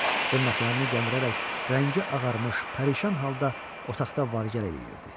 Dırnaqlarını gəmirərək, rəngi ağarmış, pərişan halda otaqda var-gəl eləyirdi.